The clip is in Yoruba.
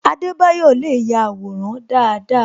Adebayo le ya àwòrán dáadáa